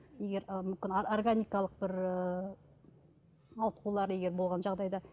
егер ы мүмкін органикалық бір ы ауытқулар егер болған жағдайда